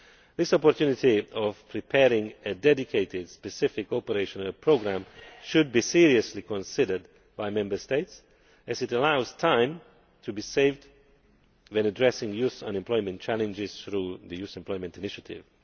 This opportunity to prepare a dedicated specific operational programme should be seriously considered by Member States as it allows time to be saved when addressing youth unemployment challenges through the Youth Employment Initiative.